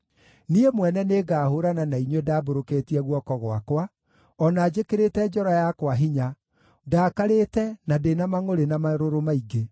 Niĩ mwene nĩngahũũrana na inyuĩ ndambũrũkĩtie guoko gwakwa, o na njĩkĩrĩte njora yakwa hinya, ndaakarĩte, na ndĩ na mangʼũrĩ na marũrũ maingĩ.